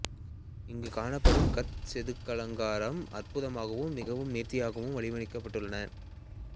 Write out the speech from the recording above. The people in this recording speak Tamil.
இங்கே காணப்படும் கற் செதுக்கலலங்காரம் அற்புதமாகவூம் மிகவும் நேர்த்தியாகவும் வடிவமைக்கப்பட்டுள்ளன